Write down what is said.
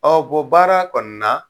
baara kɔni na